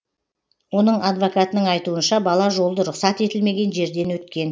оның адвокатының айтуынша бала жолды рұқсат етілмеген жерден өткен